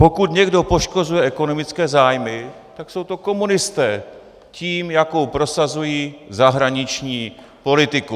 Pokud někdo poškozuje ekonomické zájmy, tak jsou to komunisté - tím, jakou prosazují zahraniční politiku.